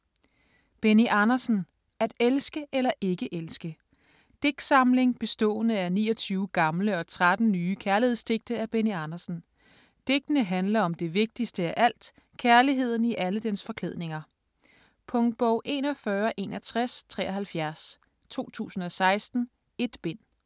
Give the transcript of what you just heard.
Andersen, Benny: At elske eller ikke elske Digtsamling bestående af 29 gamle og 13 nye kærlighedsdigte af Benny Andersen. Digtene handler om det vigtigste af alt, kærligheden i alle dens forklædninger. Punktbog 416173 2016. 1 bind.